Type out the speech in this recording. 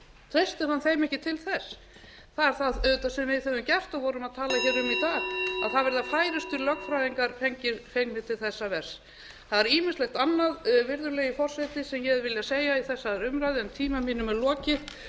treystir hann þeim ekki til þess það er auðvitað það sem við höfum gert og vorum að tala um í dag að það verða færustu lögfræðingar fengnir til þessa verks það er ýmislegt annað virðulegi forseti sem ég hefði viljað segja við þessa umræðu en tíma mínum er lokið